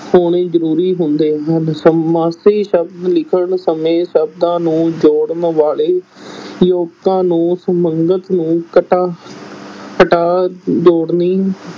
ਹੋਣੇ ਜ਼ਰੂਰੀ ਹੁੰਦੇ ਹਨ, ਸਮਾਸੀ ਸ਼ਬਦ ਲਿਖਣ ਸਮੇਂ ਸ਼ਬਦਾਂ ਨੂੰ ਜੋੜਨ ਵਾਲੇ ਯੋਜਕਾਂ ਨੂੰ ਸੰਬੰਧਕ ਨੂੰ ਕਟਾ ਹਟਾ ਜੋੜਨੀ